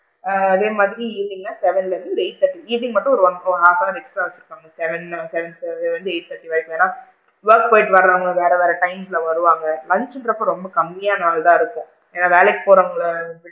ஆ அதே மாதிரி evening னா seven ல இருந்து eight thirty evening மட்டும் ஒரு half an hour extra வச்சு இருக்காங்க seven seven ல இருந்து eight thirty வரைக்கும் ஏன்னா? work போயிட்டு வரவுங்க வேற வேற times ல வருவாங்க லஞ்ச்சுங்க்ரப்ப ரொம்ப கம்மியான ஆள் தான் இருக்கும் ஏன்னா வேலைக்கு போறவுங்க,